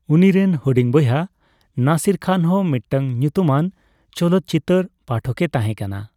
ᱩᱱᱤᱨᱮᱱ ᱦᱩᱰᱤᱧ ᱵᱚᱭᱦᱟ ᱱᱟᱥᱤᱨ ᱠᱷᱟᱱ ᱦᱚᱸ ᱢᱤᱫᱴᱟᱝ ᱧᱩᱛᱩᱢᱟᱱ ᱪᱚᱞᱚᱛᱪᱤᱛᱟᱹᱨ ᱯᱟᱴᱷᱚᱠᱮ ᱛᱟᱦᱮᱸ ᱠᱟᱱᱟ ᱾